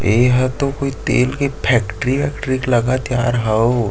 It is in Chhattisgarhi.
एहा तो कोई तेल के फैक्ट्री उक्टरी लगथ यार हव।